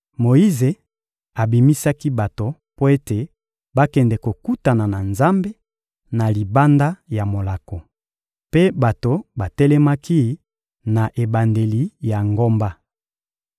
Moyize abimisaki bato mpo ete bakende kokutana na Nzambe, na libanda ya molako. Mpe bato batelemaki na ebandeli ya ngomba.